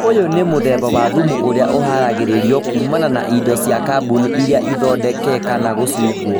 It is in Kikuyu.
ũyũ nĩ mũthemba wa thumu ũrĩa ũharagĩrĩrio kuumana na indo cia kaboni iria ithondeke kana gũcungwo